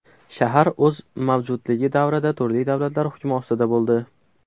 Shahar o‘z mavjudligi davrida turli davlatlar hukmi ostida bo‘ldi.